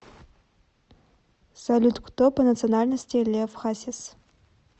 салют кто по национальности лев хасис